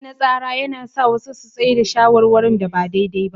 Matsi na tsara yana sa wasu su tsai da shawarwarin da ba daidai ba.